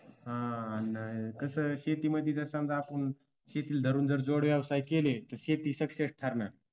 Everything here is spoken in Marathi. हा आणि कसं शेतीमध्ये जर समजा आपण शेतीला धरून जर जोड व्यवसाय केले तर शेती success ठरणार.